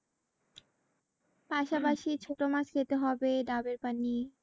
পাশা পাশি ছোট মাছ খেতে হবে ডাবের পানি